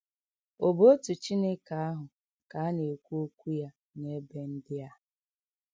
Ọ̀ bụ otu Chineke ahụ ka a na - ekwu okwu ya n’ebe ndị a?